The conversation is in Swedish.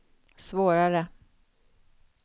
svårare